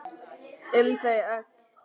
Um þau öll.